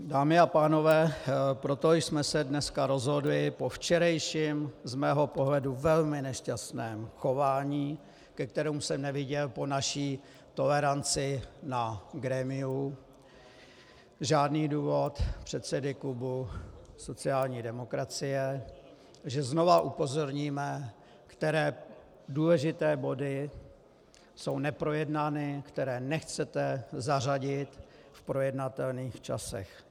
Dámy a pánové, proto jsme se dneska rozhodli po včerejším - z mého pohledu velmi nešťastném - chování, ke kterému jsem neviděl po naší toleranci na grémiu žádný důvod předsedy klubu sociální demokracie, že znovu upozorníme, které důležité body jsou neprojednány, které nechcete zařadit v projednatelných časech.